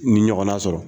Ni ɲɔgɔnna sɔrɔ